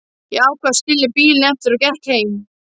Ég ákvað að skilja bílinn eftir og gekk heim.